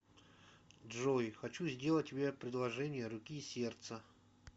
джой хочу сделать тебе предложение руки и сердца